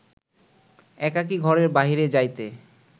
একাকী ঘরের বাহিরে যাইতে